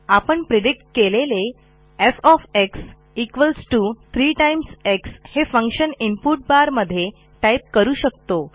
आपणpredict केलेले F 3 X हे function input bar मध्ये टाईप करू शकतो